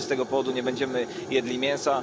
No i co, z tego powodu nie będziemy jedli mięsa?